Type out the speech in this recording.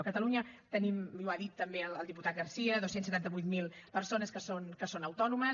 a catalunya tenim i ho ha dit també el diputat garcía dos cents i setanta vuit mil persones que són autònomes